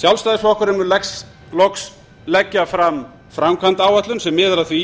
sjálfstæðisflokkurinn mun loks leggja fram framkvæmdaáætlun sem miðar að því